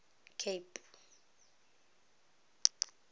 cape